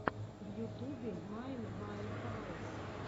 в ютубе майнд ваэхаус